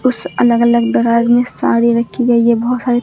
उस अलग अलग दराज में साड़ी रखी गई है बहोत सारी--